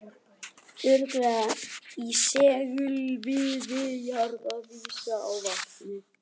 Óregla í segulsviði jarðar vísar á vatnsæðar